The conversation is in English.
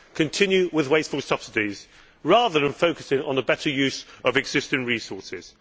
to continue with wasteful subsidies rather than focusing on the better use of existing resources.